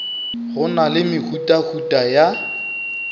go na le mehutahuta ya